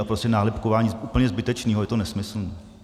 A prostě nálepkování úplně zbytečného, je to nesmyslné.